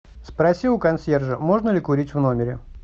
спроси у консьержа можно ли курить в номере